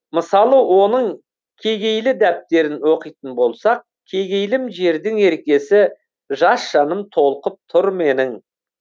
мысалы оның кегейлі дәптерін оқитын болсақ кегейлім жердің еркесі жас жаным толқып тұр менің